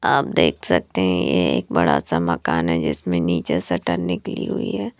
आप देख सकते हैं ये एक बड़ा सा मकान है जिसमें नीचे शटर निकली हुई है।